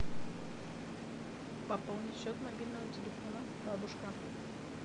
пополнить счет мобильного телефона бабушка